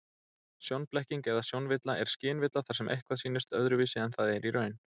Sjónblekking eða sjónvilla er skynvilla þar sem eitthvað sýnist öðruvísi en það er í raun.